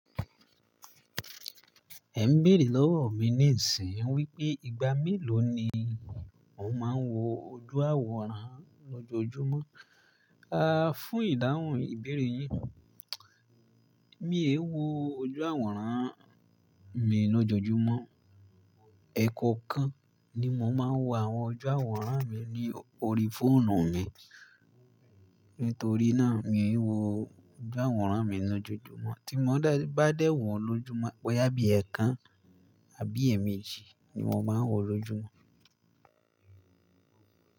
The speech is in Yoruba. Ẹ ń béèrè lọ́wọ́ mi níìsín wípé ìgbà mélòó ni ò ń máa ń wo ojú àwòrán lọ́jọ́ọjúmọ́? A fún ìdáhùn ìbéèrè yín, mi e wo ojú àwòrán mi lọ́jọ́ọjúmọ́. Ẹ̀ẹ̀koọ̀kan ni mò ń máa ń wo àwọn ojú àwòrán mi ní orí fóònù mi. Nítorí náà, mi n wo ojú àwòrán mi lọ́jọ́ọjúmọ́. Tí mò bá dẹ̀ wọ́n lójúmọ́, bóyá bí ẹ̀ẹ̀kan àbí ẹẹ̀méjì ni mò máa ń wọ lójúmọ́